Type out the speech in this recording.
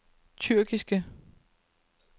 tyrkiske